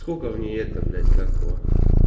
сколько в ней это блять как его